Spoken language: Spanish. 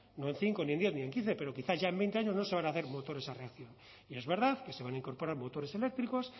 no en cinco ni en diez ni en quince pero quizá en veinte años no se van a hacer motores a reacción y es verdad que se van a incorporar motores eléctricos